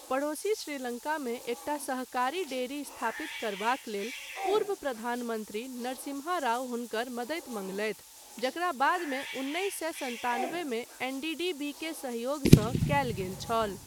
पड़ोसी श्रीलङ्कामे एकटा सहकारी डेयरी स्थापित करबाक लेल पूर्व प्रधानमन्त्री नरसिम्हा राव हुनकर मदति मंगलैथ जकरा बादमे उन्नैस सए सन्तानबेमे एनडीडीबीक सहयोगसँ कयल गेल छल।